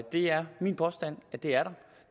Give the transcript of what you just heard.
det er min påstand at det er der